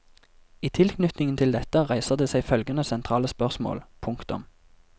I tilknytning til dette reiser det seg følgende sentrale spørsmål. punktum